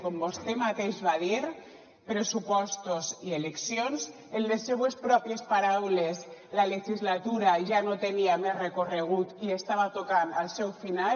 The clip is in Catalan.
com vostè mateix va dir pressupostos i eleccions en les seves pròpies paraules la legislatura ja no tenia més recorregut i estava tocant al seu final